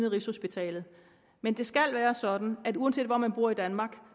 af rigshospitalet men det skal være sådan at uanset hvor man bor i danmark